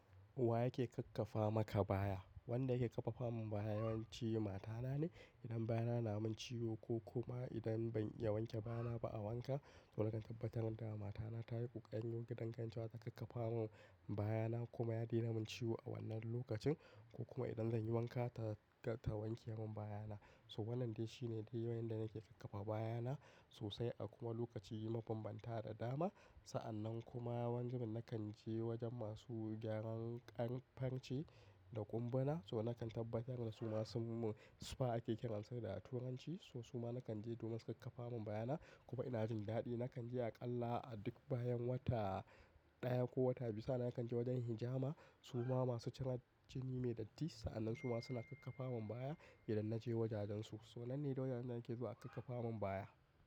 Wa yake kakkafa maka baya? Wanda yake kakkafa mun baya yawanci matana ne. Idan baya na mun ciwo ko kuma idan ban ya wanke baya na ba a wanka, so nakan tabbatar da mata na tayi ƙuƙan yin gidan kancita ta kakkafa mun baya na kuma ya daina mun ciwo a wannan lokacin ko kuma idan zanyi wanka ta wanke mun baya na. So wannan dai shine dai yawan yan da nake kakkafa baya na sosai a kuma lokaci yima banbanta da dama. Sa'annan kuma wani zubin nakan je wajen masu gyaran ƙyanƙ fance da ƙumba na, so nakan tabbatar da su ma sunmun sufa ake kiransu da a turanci. So su ma nakan je domin su kakkafa mun baya na kuma ina jin daɗi. Nakan je aƙalla a duk bayan wata ɗaya ko wata biyu sa'an nan kakan je wajen hijama su ma masu cin jini mai datti. Sa'annan su ma suna kakkafa mun baya idan naje wajajen su. So nan ne wajajen da nake zuwa a kakkafa mun baya.